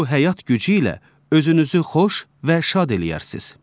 Bu həyat gücü ilə özünüzü xoş və şad eləyərsiz.